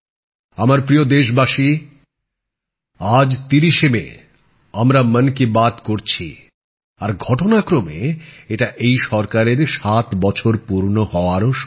আমার প্রিয় দেশবাসী আজ ৩০শে মে আমরা মন কি বাত করছি আর ঘটনা ক্রমে এটা এই সরকারের ৭ বছর পূর্ণ হওয়ারও সময়